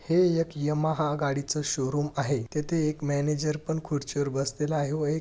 हे एक यमहा गाडीचं शोरूम आहे तेथे एक मॅनेजर पण खुर्चीवर बसलेला आहे व एक--